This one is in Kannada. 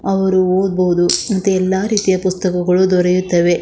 ಅವ್ರು ಓದಬಹುದು ಮತ್ತೆ ಎಲ್ಲಾ ರೀತಿಯ ಪುಸ್ತಕಗಳು ದೊರೆಯುತ್ತವೆ .